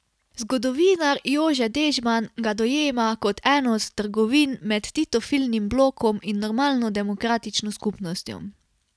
Zgodovinar Jože Dežman ga dojema kot eno od trgovin med titofilnim blokom in normalno demokratično skupnostjo.